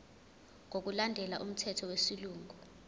ngokulandela umthetho wesilungu